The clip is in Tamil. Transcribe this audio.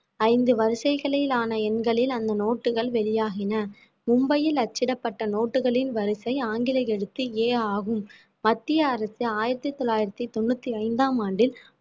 ஐந்து வரிசைகளிலான எண்களில் அந்த நோட்டுகள் வெளியாகின மும்பையில் அச்சிடப்பட்ட நோட்டுகளின் வரிசை ஆங்கில எழுத்து A ஆகும் மத்திய அரசு ஆயிரத்தி தொள்ளாயிரத்தி தொண்ணூத்தி ஐந்தாம் ஆண்டில்